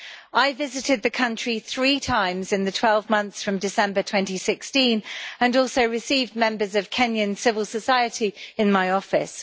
I visited the country three times in the 12 months from December 2016 and also received members of Kenyan civil society in my office.